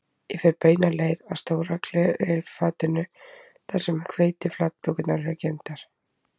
Ég fer beina leið að stóra leirfatinu þar sem hveitiflatbökurnar eru geymdar